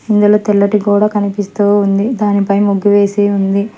ఇందులో తెల్లటి గోడ కనిపిస్తూ ఉంది దాని పై ముగ్గు వేసి ఉంది.